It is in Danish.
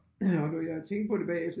Og når jeg tænkte på det bagefter